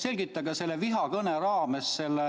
Selgitage selle vihakõne raames oma